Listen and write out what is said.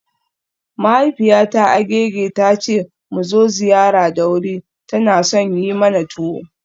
Mahaifiyata Agege ta ce mu zo ziyara da wuri, tana son yi mana tuwo.